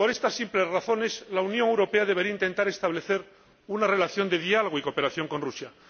Por estas simples razones la Unión Europea debería intentar establecer una relación de diálogo y cooperación con Rusia.